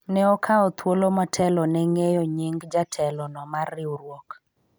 ne okawa thuolo motelo ne ng'eyo nying jatelo no mar riwruok